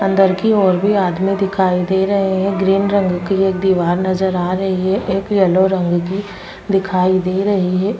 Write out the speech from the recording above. अंदर की ओर भी आदमी दिखाई दे रहे है ग्रीन रंग की एक दीवार नजर आ रही है एक येलो रंग की दिखाई दे रही है।